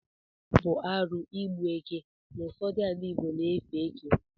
Ọ bụ arụ igbu eke n’ụfọdụ ala igbo na-efe eke